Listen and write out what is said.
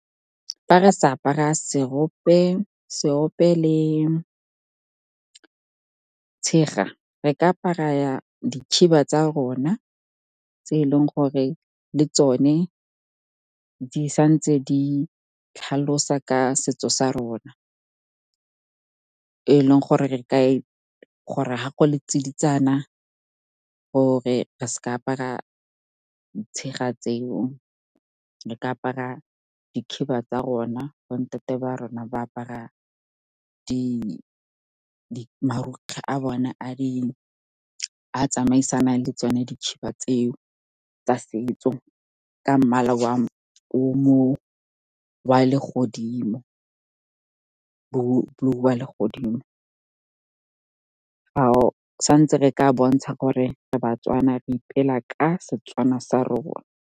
Fa re sa apara seope le tshega, re ka apara dikhiba tsa rona tse eleng gore le tsone di santse di tlhalosa ka setso sa rona, e leng gore ha go le tsiditsana gore re seke ra apara tshega tseo, re ka apara dikhiba tsa rona. Bo ntate ba rona ba apara marokgwe a tsamaisanang le tsone dikhiba tseo tsa setso ka mmala wa le godimo. Sa ntse re ka bontsha gore re baTswana, re ipela ka Setswana sa rona.